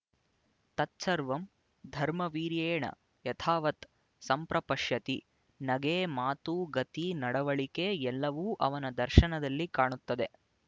ತತ್ಸರ್ವಂ ಧರ್ಮವೀರ್ಯೆಣ ಯಥಾವತ್ ಸಂಪ್ರಪಶ್ಯತಿ ನಗೆ ಮಾತು ಗತಿ ನಡವಳಿಕೆ ಎಲ್ಲವೂ ಅವನ ದರ್ಶನದಲ್ಲಿ ಕಾಣುತ್ತದೆ